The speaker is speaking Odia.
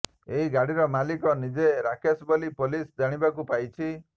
ଏହି ଗାଡ଼ିର ମାଲିକ ନିଜେ ରାକେଶ ବୋଲି ପୋଲିସ ଜାଣିବାକୁ ପାଇଛି